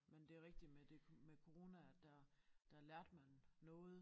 Men det rigtigt med det med corona at der der lærte man noget